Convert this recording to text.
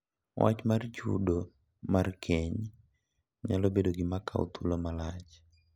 Wach mar chudo mar keny nyalo bedo gima kawo thuolo malach,